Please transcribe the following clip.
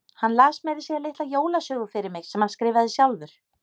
Hann las meira að segja litla jólasögu fyrir mig sem hann skrifaði sjálfur.